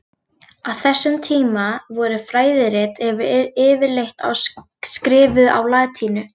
Á þessum tíma voru fræðirit yfirleitt skrifuð á latínu.